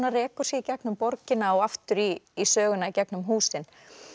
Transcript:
rekur sig í gegnum borgina og aftur í í söguna í gegnum húsin